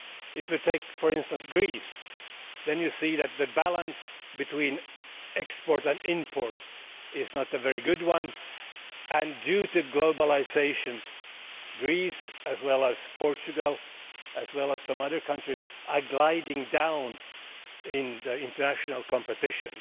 If you take, for instance, Greece then you see that the balance between export and import is not a very good one, and due to globalisation Greece, Portugal and some other countries are gliding down in international competition.